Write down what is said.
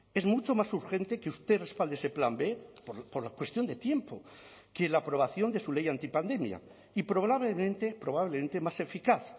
es mucho más urgente que usted respalde ese plan b por la cuestión de tiempo que la aprobación de su ley antipandemia y probablemente probablemente más eficaz